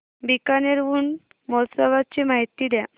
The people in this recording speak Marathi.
बीकानेर ऊंट महोत्सवाची माहिती द्या